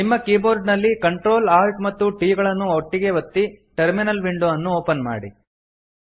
ನಿಮ್ಮ ಕೀಬೋರ್ಡ ನಲ್ಲಿ Ctrl Alt ಮತ್ತು T ಕೀ ಗಳನ್ನು ಒಮ್ಮೆಗೇ ಒತ್ತಿ ಟರ್ಮಿನಲ್ ವಿಂಡೊ ಅನ್ನು ಓಪನ್ ಮಾಡಿ